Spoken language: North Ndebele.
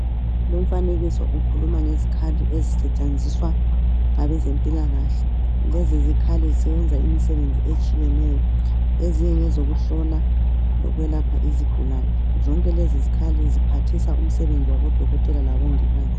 Lumfanekiso ukhuluma ngezikhali ezisetshenziswa ngabezempilakahle lezi zikhali zisebenza imsebenzi etshiyeneyo ezinye ngezokuhlola lokwelapha izigulani zonke lezi zikhali ziphathisa umsebenzi wabodokotela labongikazi.